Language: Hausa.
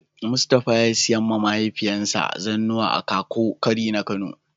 mustapha ya siya ma mahaifiyan sa zannuwa a kakuwau kwari na Kano.